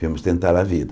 Viemos tentar a vida.